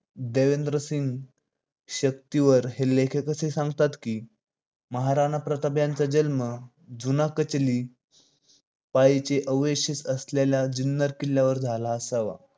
देवेंद्रसिंग शक्तीवर हे लेखक असे सांगतात की महाराणा प्रताप यांचा जन्म जुना कचरी पाळीचे अवशेष असलेल्या जुन्नर किल्ल्यावर झाला असावा.